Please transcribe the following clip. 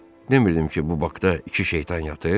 Demirdim ki, bu Bakda iki şeytan yatır?